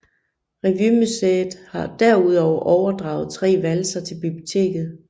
Revymuseet har derudover overdraget tre valser til biblioteket